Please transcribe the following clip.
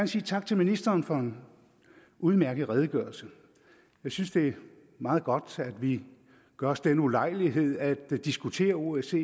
sige tak til ministeren for en udmærket redegørelse jeg synes det er meget godt at vi gør os den ulejlighed at diskutere osce